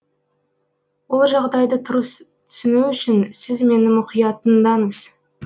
ол жағдайды дұрыс түсіну үшін сіз мені мұқият тыңдаңыз